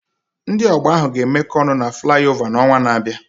Ndị ọgba ahụ ga-emekọ ọnụ na Fulevo n'ọnwa na-abịa.